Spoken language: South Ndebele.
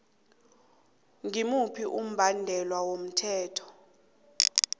ngimuphi umbandela womthetho